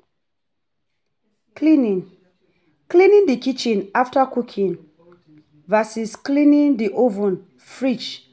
um Cleaning cleaning the kitchen after cooking vs cleaning the oven, fridge